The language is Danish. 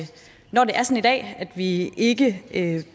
dag at vi ikke ikke